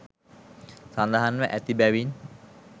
සඳහන්ව ඇති බැවින්